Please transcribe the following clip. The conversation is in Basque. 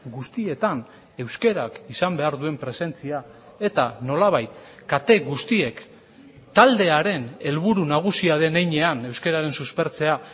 guztietan euskarak izan behar duen presentzia eta nolabait kate guztiek taldearen helburu nagusia den heinean euskararen suspertzea